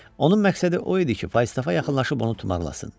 Onun məqsədi o idi ki, Falstafa yaxınlaşıb onu tumarlasın.